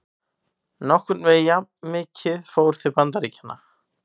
Nokkurn veginn jafnmikið fór til Bandaríkjanna.